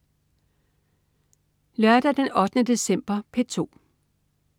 Lørdag den 8. december - P2: